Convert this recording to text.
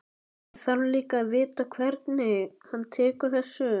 Ég þarf líka að vita hvernig hann tekur þessu.